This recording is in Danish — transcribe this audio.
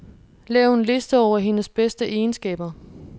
Lav en liste over hendes bedste egenskaber.